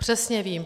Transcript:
Přesně vím.